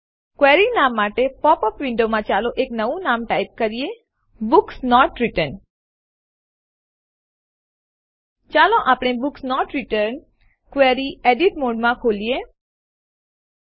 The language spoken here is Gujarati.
ક્વેરી નામ માટે પોપ અપ વિન્ડોમાં ચાલો આપણે એક નવું નામ ટાઈપ કરીએ બુક્સ નોટ રિટર્ન્ડ ચાલો આપણે બુક્સ નોટ રિટર્ન્ડ ક્વેરીને એડિટ મોડ ફેરફાર કરી શકાય એવી સ્થિતિમાં ખોલીએ